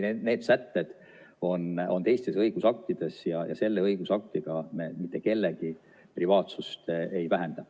Need sätted on teistes õigusaktides ja selle õigusaktiga me mitte kellegi privaatsust ei vähenda.